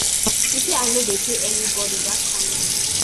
she say i no dey pay anybodi dat kain moni